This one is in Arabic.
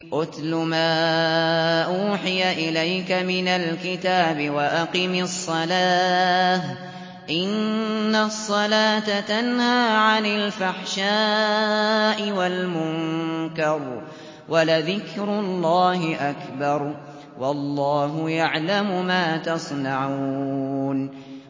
اتْلُ مَا أُوحِيَ إِلَيْكَ مِنَ الْكِتَابِ وَأَقِمِ الصَّلَاةَ ۖ إِنَّ الصَّلَاةَ تَنْهَىٰ عَنِ الْفَحْشَاءِ وَالْمُنكَرِ ۗ وَلَذِكْرُ اللَّهِ أَكْبَرُ ۗ وَاللَّهُ يَعْلَمُ مَا تَصْنَعُونَ